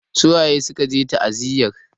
Su waye suka je ta'aziyar?